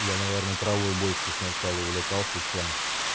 я наверное травой больше сначала увлекался чем